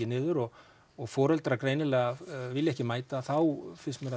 niður og og foreldrar greinilega vilja ekki mæta þá finnst mér